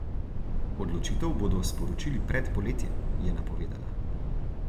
Odločitev bodo sporočili pred poletjem, je napovedala.